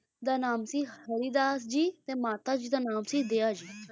ਦਾ ਨਾਮ ਸੀ ਹਰੀ ਦਾਸ ਜੀ ਮਾਤਾ ਜੀ ਦਾ ਨਾਮ ਦਇਆ ਜੀ,